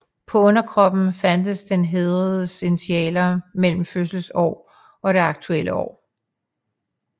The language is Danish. På underkoppen fandtes den hædredes initialer mellem fødselsår og det aktuelle år